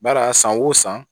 Bari a san o san